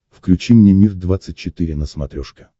включи мне мир двадцать четыре на смотрешке